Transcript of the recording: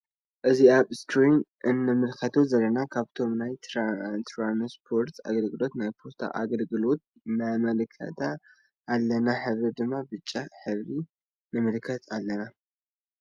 እዚ አብ እስክሪን እነምልከቶ ዘለና ካብቶም ናይ ትራነሰፖረት ኣገልገሎት ናይ ፖስታ አገለገሎት ነመልከት አለና ሕብራ ድማ ብጫ ሕበሪ ንመልከት አለና።